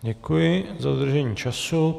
Děkuji do dodržení času.